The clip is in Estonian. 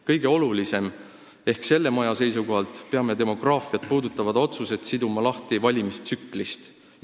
Kõige olulisem ehk selle maja seisukohalt on see, et peame demograafiat puudutavad otsused siduma lahti valimistsüklist.